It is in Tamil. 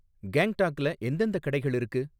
கேங்டாக்ல எந்தெந்த கடைகள் இருக்கு